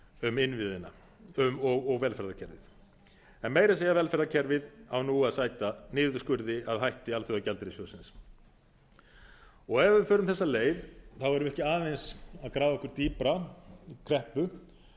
um innviðina og velferðarkerfið en meira að segja velferðarkerfið á nú að sæta niðurskurði að hætti alþjóðagjaldeyrissjóðsins ef við förum þessa leið erum við ekki aðeins að grafa okkur dýpra í kreppu